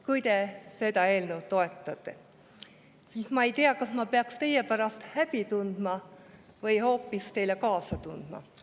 Kui te seda eelnõu toetate, siis ma ei tea, kas ma peaks teie pärast häbi tundma või hoopis teile kaasa tundma.